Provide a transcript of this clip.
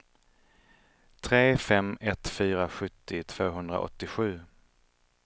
tre fem ett fyra sjuttio tvåhundraåttiosju